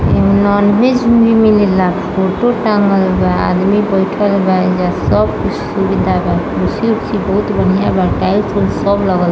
Nonveg भी मिलल ले फोटो टंगल बा आदमी बैठल बा एजा सब कुछ सुविधा बा कुर्सी-उर्सी बहुत बढिया बाटाइल -आइल सब लगल बा।